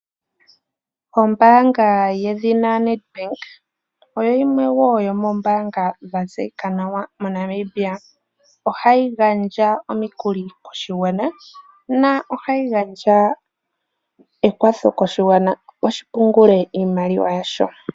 Ombaanga yedhina Nedbank oyo yimwe yo moombanga dha tseyika nawa mo Namibia. Ohayi gandja omukuli koshigwana na ohayi gandja ekwatho koshigwana opo shi pungule iimaliwa yasho.